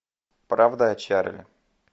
правда о чарли